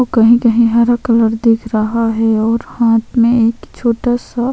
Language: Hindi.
तो कहीं - कहीं हरा कलर दिख रहा है और हाथ में एक छोटा सा --